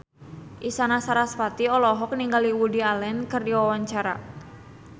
Isyana Sarasvati olohok ningali Woody Allen keur diwawancara